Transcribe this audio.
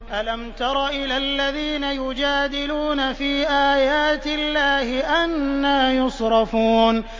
أَلَمْ تَرَ إِلَى الَّذِينَ يُجَادِلُونَ فِي آيَاتِ اللَّهِ أَنَّىٰ يُصْرَفُونَ